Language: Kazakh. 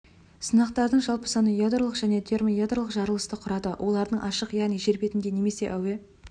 сынақтардың жалпы саны ядролық және термоядролық жарылысты құрады олардың ашық яғни жер бетінде немесе әуе